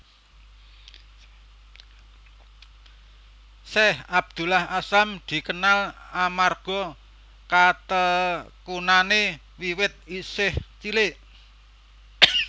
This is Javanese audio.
Syeikh Abdullah Azzam dikenal amarga katekunane wiwit isih cilik